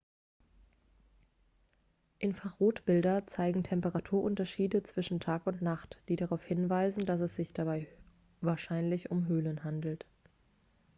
infrarotbilder zeigen temperaturunterschiede zwischen nacht und tag die darauf hinweisen dass es sich dabei wahrscheinlich um höhlen handelt